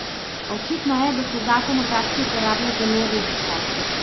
A očitno je, da se zakon v praksi uporablja zelo redko.